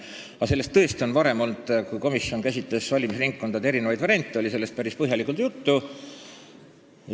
Kui põhiseaduskomisjon varem käsitles valimisringkondade eri variante, oli sellest päris põhjalikult juttu.